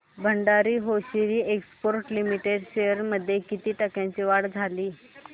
Bhandari hosiery exports limited shares मध्ये किती टक्क्यांची वाढ झाली